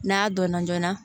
N'a dɔnna joona